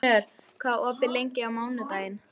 Knörr, hvað er opið lengi á mánudaginn?